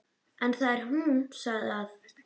En þegar hún sagði að